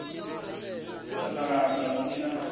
u sasaladza hu si na